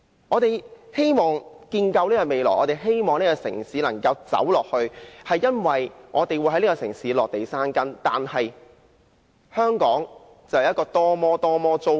我們希望建構未來，希望這個城市能夠走下去，是因為我們會在這個城市落地生根，但是，香港的房屋政策是多麼糟糕。